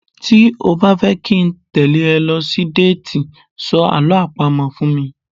Tí o bá fẹ́ kí n tẹ́lẹ̀ ẹ lọ sí déètì, sọ Àlọ́ àpamọ̀ fún mi.